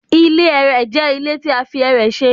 Ile ẹrẹ jẹ ile ti a fi ẹrẹ ṣe